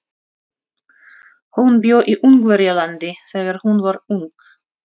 Hún bjó í Ungverjalandi þegar hún var ung.